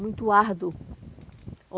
muito árduo.